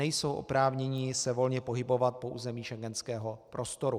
Nejsou oprávněni se volně pohybovat po území schengenského prostoru.